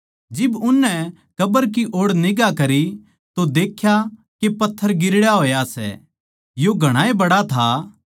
जिब उननै कब्र की ओड़ निगांह करी तो देख्या के पत्थर गिरड़या होया सै यो घणाए बड्ड़ा था